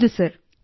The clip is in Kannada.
ಹೌದು ಸರ್